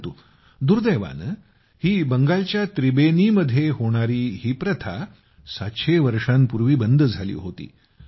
परंतु दुर्दैवानं ही बंगालच्या त्रिबेनीमध्ये होणारी ही प्रथा 700 वर्षांपूर्वी बंद झाली होती